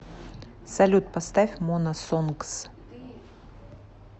салют поставь мона сонгс